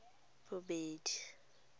bodibe